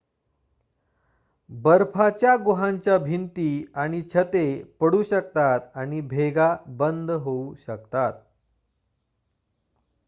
बर्फाच्या गुहांच्या भिंती आणि छते पडू शकतात आणि भेगा बंद होऊ शकतात